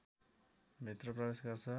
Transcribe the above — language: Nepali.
भित्र प्रवेश गर्छ